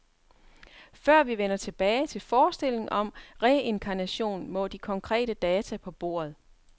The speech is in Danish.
Før vi vender tilbage til forestillingen om reinkarnation, må de konkrete data på bordet.